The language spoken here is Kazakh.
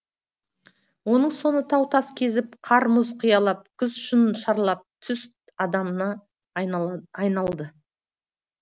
оның соңы тау тас кезіп қар мұз қиялап құз шың шарлап түз адамына айналды